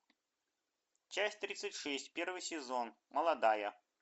часть тридцать шесть первый сезон молодая